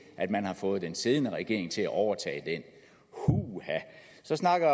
at man har fået den siddende regering til at overtage den huha så snakker